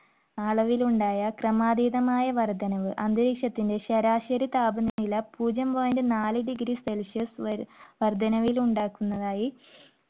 ആ അളവിൽ ഉണ്ടായ ക്രമാതീതമായ വർദ്ധനവ് അന്തരീക്ഷത്തിന്റെ ശരാശരി താപനില പൂജ്യം point നാല് degree Celsius വരെ വർദ്ധനവിൽ ഉണ്ടാക്കുന്നതായി